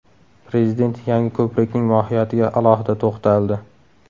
Prezident yangi ko‘prikning mohiyatiga alohida to‘xtaldi.